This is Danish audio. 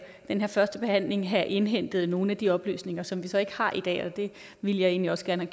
den her førstebehandling have indhentet nogle af de oplysninger som vi så ikke har i dag og det ville jeg egentlig også gerne